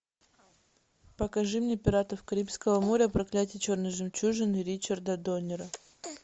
покажи мне пиратов карибского моря проклятие черной жемчужины ричарда доннера